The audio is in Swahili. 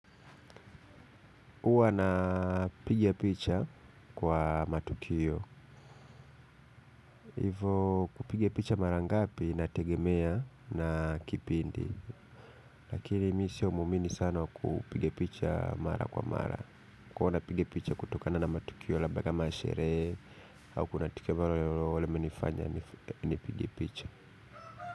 Huwa napiga picha kwa matukio. Hivo kupiga picha mara ngapi inategemea na kipindi. Lakini mi siyo muamini sana wa kupiga picha mara kwa mara. Huwa napigia picha kutokana na matukio labda kama sherehe. Au kunatukio ambalo limenifanya nipigie picha.